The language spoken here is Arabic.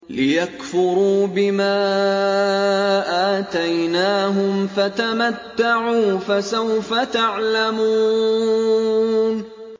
لِيَكْفُرُوا بِمَا آتَيْنَاهُمْ ۚ فَتَمَتَّعُوا ۖ فَسَوْفَ تَعْلَمُونَ